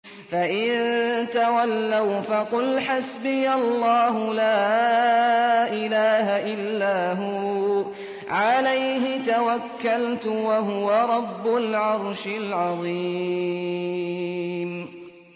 فَإِن تَوَلَّوْا فَقُلْ حَسْبِيَ اللَّهُ لَا إِلَٰهَ إِلَّا هُوَ ۖ عَلَيْهِ تَوَكَّلْتُ ۖ وَهُوَ رَبُّ الْعَرْشِ الْعَظِيمِ